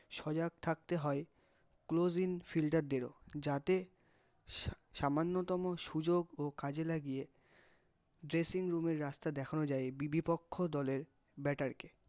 সজাগ থাকতে হয় closing fielder ও, যাতে সা সামান্যতম সুযোগও কাজে লাগিয়ে, dressing room এর রাস্তা দেখানো যায়, বিবিপক্ষ দলের bater কে